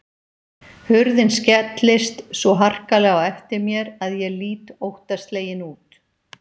Hurðin skellist svo harkalega á eftir mér að ég lít óttaslegin út.